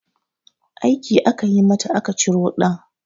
Aiki aka yi mata aka ciro ɗan